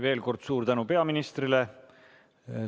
Veel kord suur tänu peaministrile!